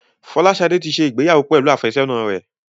Folashade tí ṣe ìgbéyàwó pẹlú afesona rẹ